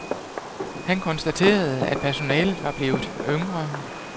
Han konstaterede, at personalet var blevet yngre.